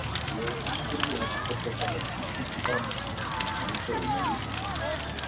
Ég spurði hana hvort þetta væri íslenski fáninn en hún sagði nei.